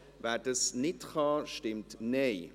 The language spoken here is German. wer dies nicht tun kann, stimmt Nein.